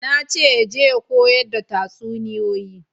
Na ce ya je ya koyar da tatsuniyoyi